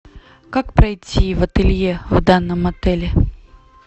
как пройти в ателье в данном отеле